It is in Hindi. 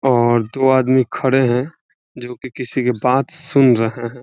और दो आदमी खड़े हैं जो की किसी के बात सुन रहे हैं।